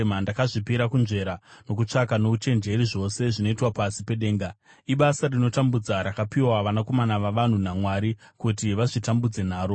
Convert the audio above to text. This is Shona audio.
Ndakazvipira kunzvera nokutsvaka nouchenjeri zvose zvinoitwa pasi pedenga. Ibasa rinotambudza rakapiwa vanakomana vavanhu naMwari kuti vazvitambudze naro.